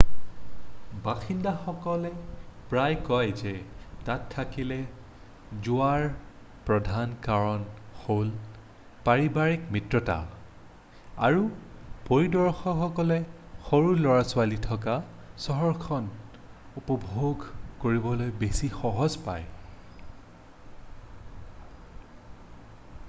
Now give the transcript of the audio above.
বাসিন্দাসকলে প্ৰায় কয় যে তাত থাকিবলৈ যোৱাৰ প্ৰধান কাৰণ হ'ল পাৰিবাৰিক মিত্ৰতা আৰু পৰিদৰ্শকসকলে সৰু লৰা-ছোৱালী থকা চহৰখন উপভোগ কৰিবলৈ বেছি সহজ পায়